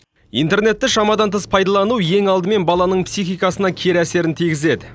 интернетті шамадан тыс пайдалану ең алдымен баланың психикасына кері әсерін тигізеді